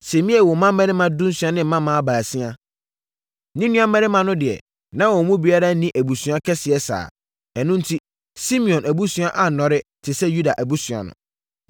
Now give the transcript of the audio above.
Simei woo mmammarima dunsia ne mmammaa baasia. Ne nuammarima no deɛ, na wɔn mu biara nni abusua kɛseɛ saa. Ɛno enti, Simeon abusua annɔre te sɛ Yuda abusua no.